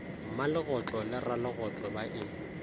mmalegotlo le ralegotlo ba e